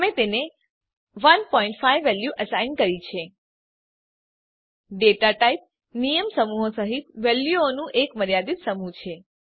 અમે તેને 15 value assign કરી છે દાતા ટાઇપ નિયમસમૂહો સહીત વેલ્યુઓનું એક મર્યાદિત સમૂહ છે